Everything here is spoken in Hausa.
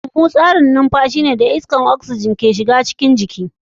Huhu da tsarin numfashi suna ba da damar iskar oxygen da ke cikin iska a cikin jiki.